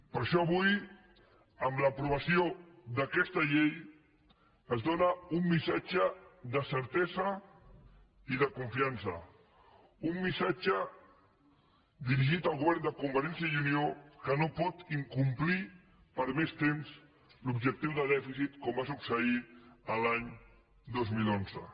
per això avui amb l’aprovació d’aquesta llei es dóna un missatge de certesa i de confiança un missatge dirigit al govern de convergència i unió que no pot incomplir per més temps l’objectiu de dèficit com va succeir l’any dos mil onze